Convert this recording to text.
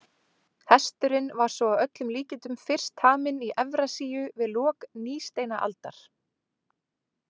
Hesturinn var svo að öllum líkindum fyrst taminn í Evrasíu við lok nýsteinaldar.